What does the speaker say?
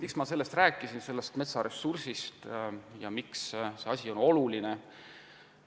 Miks ma sellest rääkisin – sellest metsaressursist – ja miks see asi on oluline?